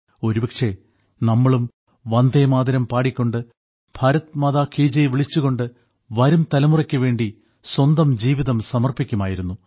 ഒരുപക്ഷേ നമ്മളും വന്ദേമാതരം പാടിക്കൊണ്ട് ഭാരത് മാതാ കി ജയ് വിളിച്ചുകൊണ്ട് വരും തലമുറയ്ക്കു വേണ്ടി സ്വന്തം ജീവിതം സമർപ്പിക്കുമായിരുന്നു